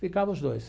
Ficava os dois.